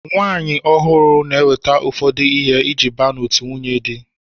Nwaanyi ọhụụ n'eweta ụfọdụ ihe iji baa n'otu ndị nwunyedi.